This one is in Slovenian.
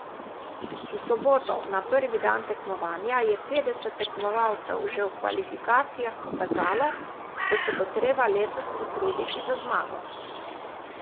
V soboto, na prvi dan tekmovanja, je petdeset tekmovalcev že v kvalifikacijah pokazalo, da se bo treba letos potruditi za zmago.